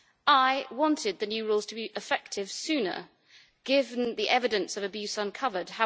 I wanted the new rules to be effective sooner given the evidence of abuse uncovered.